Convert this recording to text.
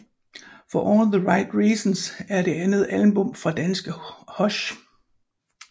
For All The Right Reasons er det andet album fra danske Hush